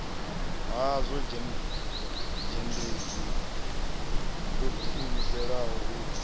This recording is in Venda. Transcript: hazwo zhendedzhi lo diimiselaho u